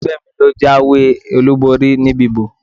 Ẹgbẹ́ mi ló jáwé olúborí níbi ìbò.